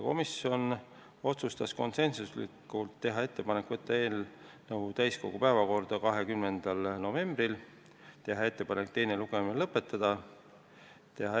Komisjon otsustas konsensuslikult teha ettepaneku saata eelnõu täiskogu päevakorda 20. novembril ja teha ettepaneku teine lugemine lõpetada.